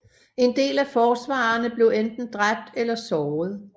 En del af forsvarerne blev enten dræbt eller såret